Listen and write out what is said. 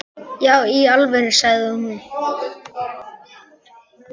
Já í alvöru, sagði hún.